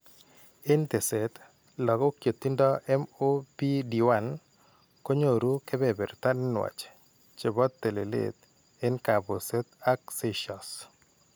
En teeset, lagok chetindo MOPD1 konyooru keberberta nenwatch chebo telelet en kaabuset ak seizures.